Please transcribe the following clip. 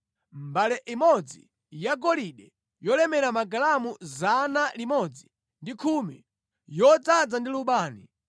mbale imodzi yagolide yolemera magalamu 110, yodzaza ndi lubani;